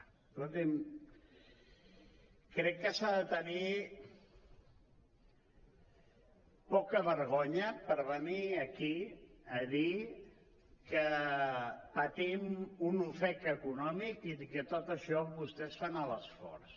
escolti’m crec que s’ha de tenir poca vergonya per venir aquí a dir que patim un ofec econòmic i que tot i això vostès fan l’esforç